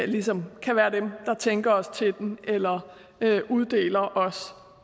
ligesom kan være dem der tænker os til den eller uddeler os